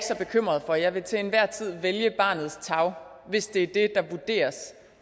så bekymret for jeg vil til enhver tid vælge barnets tarv hvis det er det der vurderes